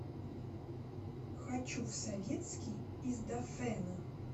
хочу в советский из дафэна